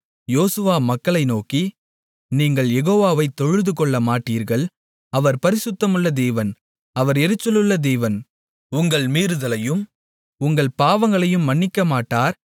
யோசுவா மக்களை நோக்கி நீங்கள் யெகோவாவைத் தொழுதுகொள்ளமாட்டீர்கள் அவர் பரிசுத்தமுள்ள தேவன் அவர் எரிச்சலுள்ள தேவன் உங்கள் மீறுதலையும் உங்கள் பாவங்களையும் மன்னிக்கமாட்டார்